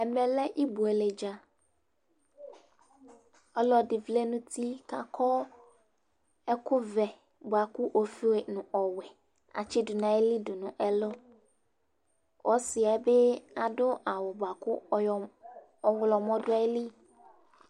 Ɛmɛ lɛ ibueledza; ɔlɔdɩ vlɛ nʋ uti kʋ akɔ ɛkʋ vɛ bʋa kʋ ofue nʋ ɔwɛ atsɩdʋ nʋ ayili nʋ ɛlʋƆsɩɛ bɩ adʋ awʋ bʋa kʋ ɔɣlɔmɔ dʋ ayili